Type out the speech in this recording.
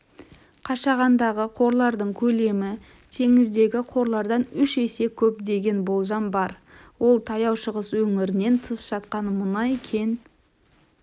қашағандағы қорлардың көлемі теңіздегі қорлардан үш есе көп деген болжам бар ол таяу шығыс өңірінен тыс жатқан мұнай кен